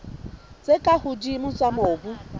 tse ka hodimo tsa mobu